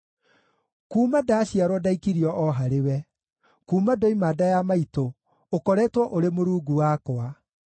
Kuuma ndaaciarwo ndaikirio o harĩwe; kuuma ndoima nda ya maitũ ũkoretwo ũrĩ Mũrungu wakwa.